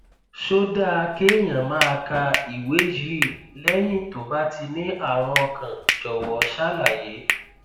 ṣó dáa kéèyàn máa ka ìwé yìí lẹyìn tó bá ti ní àrùn ọkàn jọwọ ṣàlàyé